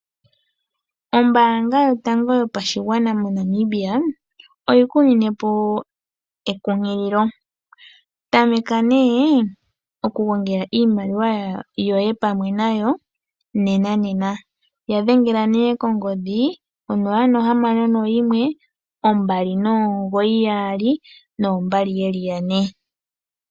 Ombaanga yotango yopashigwana moNamibia oyiku ninepo ekunkililo. Tamekapo okugongeka iimaliwa yoye pamwe nayo nenena. Yadhengela kongodhi 0612992222.